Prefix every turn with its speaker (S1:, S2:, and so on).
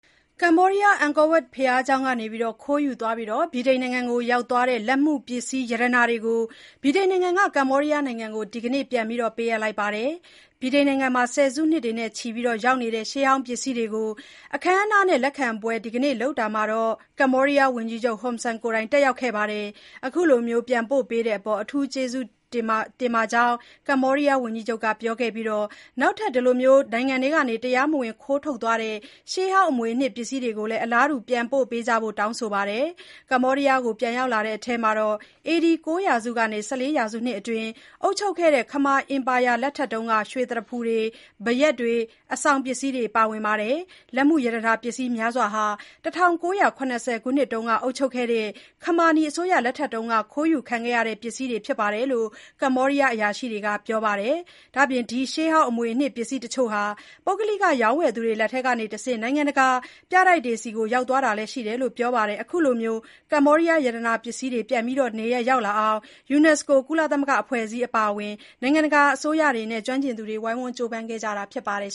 S1: ကမ္ဘောဒီးယား အန်ကောဝပ် ဘုရားကျောင်းကနေ ခိုးယူသွားပြီး ဗြိတိန်နိုင်ငံကို ရောက်သွားတဲ့ လက်မှုပစ္စည်း ရတနာတွေကို ဗြိတိန်က ကမ္ဘောဒီယားကို ဒီနေ့ ပြန်လည်ပေးအပ်လိုက်ပါတယ်။ ဗြိတိန်နိုင်ငံမှာ ဆယ်စုနှစ်နဲ့ချီရောက်နေတဲ့ ရှေးဟောင်းပစ္စည်းတွေကို အခမ်းအနားနဲ့ လက်ခံပွဲဒီနေ့ လုပ်ခဲ့တာမှာ ကမ္ဘောဒီးယား ဝန်ကြီးချုပ် Hun Sen ကိုယ်တိုင်တက်ရောက်ခဲ့ပါတယ်။ အခုလို ပြန်ပို့ပေးလာတဲ့အပေါ် အထူး ကျေးဇူးတင်မိကြောင်း ဝန်ကြီးချုပ် Hun Sen က ပြောခဲ့ပြီး၊ နောက်ထပ် တရားမဝင် နိုင်ငံထဲက ခိုးထုတ်သွားခဲ့တဲ့ ရှေးဟောင်းအမွေအနှစ်ပစ္စည်းတွေကိုလည်း အလားတူ ပြန်ပို့ပေးကြဖို့ တောင်းဆိုခဲ့ပါတယ်။ ကမ္ဘောဒီးယားကို ပြန်ရောက်လာတဲ့ထဲမှာ AD ၉ ရာစုကနေ ၁၄ ရာစုအတွင်း အုပ်ချုပ်ခဲ့တဲ့ ခမာအင်ပါယာလက်ထက်က ရွှေသရဖူတွေ၊ ဘယက်တွေ၊ အဆောင်ပစ္စည်းတွေပါဝင်ပါတယ်။ လက်မှုရတနာပစ္စည်းများစွာဟာ ၁၉၇၀ ခုနှစ်တွေက အုပ်ချုပ်ခဲ့တဲ့ ခမာနီအစိုးရလက်ထက် ခိုးယူခံခဲ့ရတဲ့ ပစ္စည်းတွေဖြစ်တယ်လို့ ကမ္ဘောဒီယားအရာရှိတွေက ပြောပါတယ်။ ဒီရှေးဟောင်းအမွေအနှစ်ပစ္စည်းတချို့ဟာ ပုဂ္ဂလိက ရောင်းဝယ်သူတွေလက်ထဲကတဆင့် နိုင်ငံတကာက ပြတိုက်တွေဆီ ရောက်သွားတာတွေလည်းရှိတယ်လို့ ပြောကြပါတယ်။ အခုလို ကမ္ဘောဒီယား ရှေးဟောင်းပစ္စည်းတွေ နေရပ်ပြန်ရောက်အောင် ယူနက်စကိုလို ကုလသမဂ္ဂအဖွဲ့အစည်းတွေအပါအဝင် နိုင်ငံတကာက အစိုးရတွေနဲ့ ပုဂ္ဂလိက အဖွဲ့အစည်းတွေ၊ ကျွမ်းကျင်သူတွေ ဝိုင်းဝန်းကြိုးပမ်းခဲ့ကြတာဖြစ်ပါတယ်